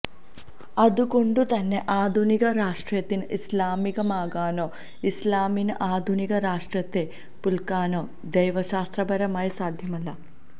അതുകൊണ്ടുതന്നെ ആധുനിക രാഷ്ട്രത്തിന് ഇസ്ലാമികമാകാനോ ഇസ്ലാമിന് ആധുനിക രാഷ്ട്രത്തെ പുല്കാനോ ദൈവശാസ്ത്രപരമായി സാധ്യമല്ല